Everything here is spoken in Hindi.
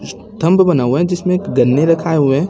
थंभ बना हुआ है जिसमें गन्ने रखाएं हुए--